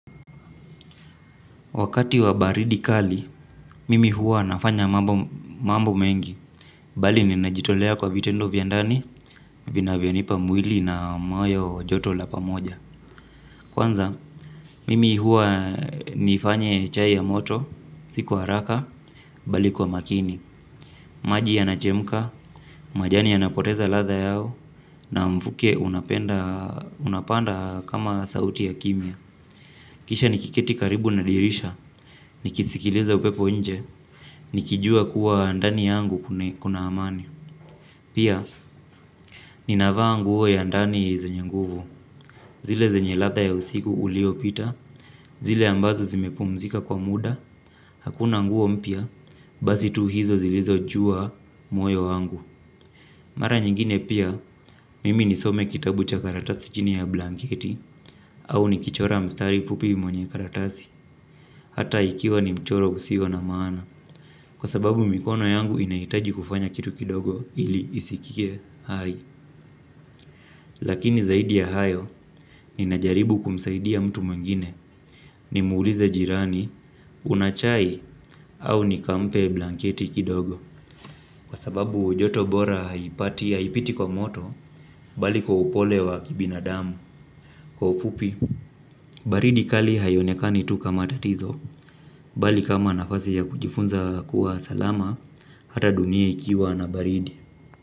Wakati wa baridi kali, mimi huwa nafanya mambo mengi. Bali ninajitolea kwa vitendo vya ndani vina vyanipa mwili na moyo joto la pamoja. Kwanza, mimi huwa nifanye chai ya moto si kwa haraka bali kwa makini. Maji yanachemka, majani yanapoteza ladha yao na mfuke unapanda kama sauti ya kimya. Kisha nikiketi karibu na dirisha nikisikiliza upepo nje nikijua kuwa ndani yangu kuna amani. Pia ninavaa nguo ya ndani ya zenye nguvu. Zile zenye ladha ya usiku ulio pita zile ambazo zimepumzika kwa muda hakuna nguo mpya basi tu hizo zilizo jua moyo wangu. Mara nyingine pia mimi nisome kitabu cha karatasi chini ya blanketi au nikichora mstari fupi mwenye karatasi. Hata ikiwa ni mchoro usio na maana kwa sababu mikono yangu inahitaji kufanya kitu kidogo ili isikie hai. Lakini zaidi ya hayo ninajaribu kumsaidi mtu mwingine nimuulize jirani una chai au nikampe blanketi kidogo. Kwa sababu joto bora haipati haipiti kwa moto bali kwa upole wa kibinadamu. Kwa ufupi baridi kali haionekani tu kama tatizo bali kama nafasi ya kujifunza kuwa salama hata dunia ikiwa na baridi.